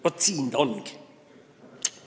Vaat seal see oligi!